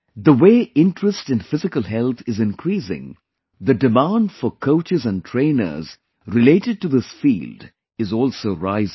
The way interest in physical health is increasing, the demand for coaches and trainers related to this field is also rising